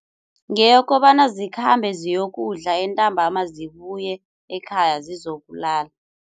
Ngeyokobana zikhambe ziyokudla, entambama zibuye ekhaya zizokulala.